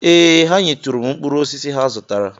Ee, ha nyetụrụ m mkpụrụosisi ha zụtara